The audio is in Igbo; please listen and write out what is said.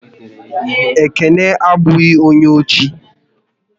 Ekene abụghị onye ochi